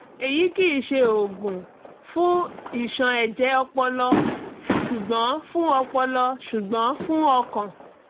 èyí kìí ṣe òògùn fún ìṣàn ẹ̀jẹ̀ ọpọlọ ṣùgbọ́n fún ọpọlọ ṣùgbọ́n fún ọkàn